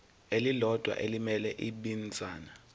elilodwa elimele ibinzana